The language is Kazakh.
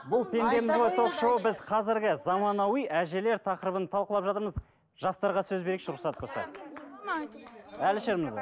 бұл пендеміз ғой ток шоуы біз қазіргі заманауи әжелер тақырыбын талқылап жатырмыз жастарға сөз берейікші рұқсат болса әлішер мырза